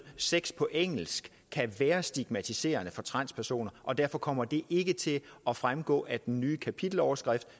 sex på engelsk kan være stigmatiserende for transpersoner og derfor kommer det ikke til at fremgå af den nye kapiteloverskrift